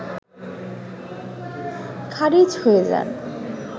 খারিজ হয়ে যায়